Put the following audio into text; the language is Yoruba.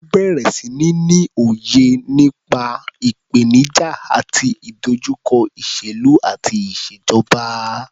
Ó bẹ̀rẹ̀ sí ní ní òye nípa ìpènijà àti ìdojúkọ ìṣèlú àti ìṣèjọba.